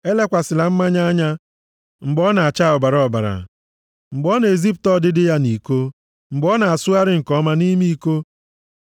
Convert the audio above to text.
Elekwasịla mmanya anya mgbe ọ na-acha ọbara ọbara, mgbe ọ na-ezipụta ọdịdị ya nʼiko mgbe ọ na-asụgharị nke ọma nʼime iko.